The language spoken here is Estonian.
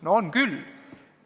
No on küll!